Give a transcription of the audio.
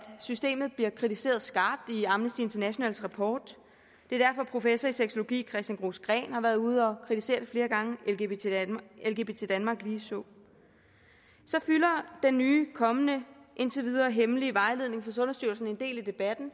systemet bliver kritiseret skarpt i amnesty internationals rapport det er derfor professor i sexologi christian gros gren har været ude at kritisere det flere gange lgbt danmark ligeså så fylder den nye og kommende og indtil videre hemmelige vejledning fra sundhedsstyrelsen en del i debatten